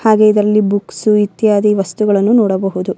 ಹಾಗೆ ಇದರಲ್ಲಿ ಬುಕ್ಸ್ ಇತ್ಯಾದಿ ವಸ್ತುಗಳನ್ನು ನೋಡಬಹುದು --